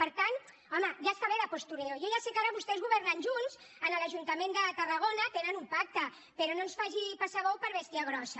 per tant home ja està bé de postureo jo ja sé que ara vostès governen junts a l’ajuntament de tarragona tenen un pacte però no ens faci passar bou per bèstia grossa